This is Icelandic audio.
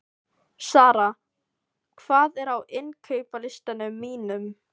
Sara, hvað er á innkaupalistanum mínum?